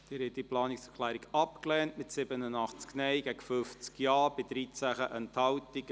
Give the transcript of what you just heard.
Sie haben diese Planungserklärung abgelehnt, mit 87 Nein- gegen 50 Ja-Stimmen bei 13 Enthaltungen.